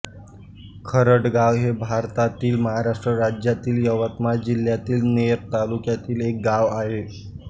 खरडगाव हे भारतातील महाराष्ट्र राज्यातील यवतमाळ जिल्ह्यातील नेर तालुक्यातील एक गाव आहे